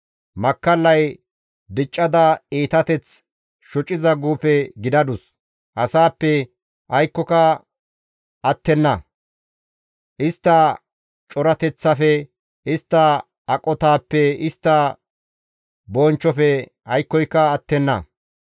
Makkallay diccada iitateth shociza guufe gidadus; asaappe aykkoyka attenna; istta corateththafe, istta aqotaappenne istta bonchchofe aykkoyka attenna.